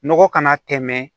Nɔgɔ kana tɛmɛ